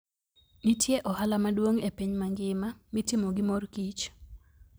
Nitie ohala maduong' e piny mangima mitimo gi mor kich.